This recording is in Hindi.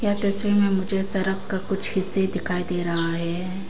यह तस्वीर में मुझे सड़क का कुछ हीस्से ही दिखाई दे रहा है।